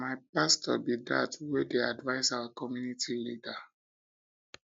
na my pastor be that wey dey advice our community leader